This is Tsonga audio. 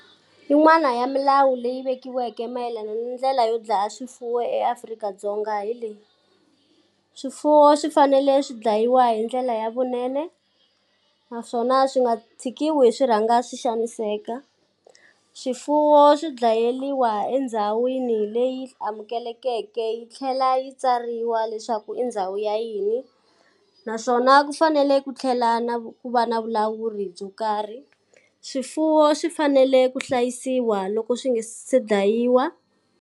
Yin'wani ya milawu leyi vekiweke mayelana ni ndlela yo dlaya swifuwo eAfrika-Dzonga hi leyi, swifuwo swi fanele swi dlayiwa hi ndlela ya vunene, naswona swi nga tshikiwi swi rhanga swi xaniseka. Swifuwo swi dlayeriwa endhawini leyi amukelekeke yi tlhela yi tsariwa leswaku i ndhawu ya yini, naswona ku fanele ku tlhela na ku va na vulawuri byo karhi. Swifuwo swi fanele ku hlayisiwa loko swi nga se dlayiwa.